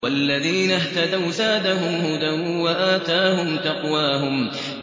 وَالَّذِينَ اهْتَدَوْا زَادَهُمْ هُدًى وَآتَاهُمْ تَقْوَاهُمْ